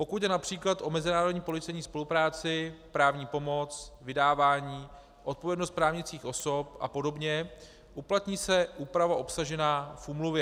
Pokud jde například o mezinárodní policejní spolupráci, právní pomoc, vydávání, odpovědnost právnických osob a podobně, uplatní se úprava obsažená v úmluvě.